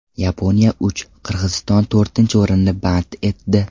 Yaponiya uch, Qirg‘iziston to‘rtinchi o‘rinni band etdi.